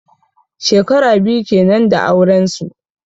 Shekara biyu kenan da auren su.